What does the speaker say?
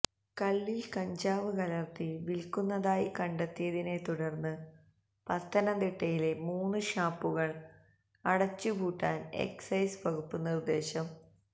കള്ളില് കഞ്ചാവ് കലര്ത്തി വില്ക്കുന്നതായി കണ്ടെത്തിയതിനെ തുടര്ന്ന് പത്തനംതിട്ടയിലെ മൂന്ന് ഷാപ്പുകള് അടച്ച് പൂട്ടാന് എക്സൈസ് വകുപ്പ് നിര്ദ്ദേശം